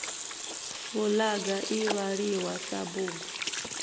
fulaga i vhaliwa sa bugu